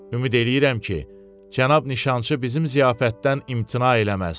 Ümid eləyirəm ki, cənab nişançı bizim ziyafətdən imtina eləməz.